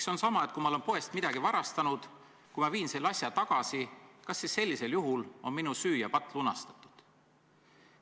See on samamoodi, et kui ma olen poest midagi varastanud ja viin selle asja tagasi – kas siis sellisel juhul on minu süü ja patt lunastatud?